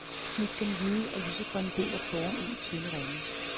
Snit den hvide og lysegrønne del af porrerne i tynde ringe.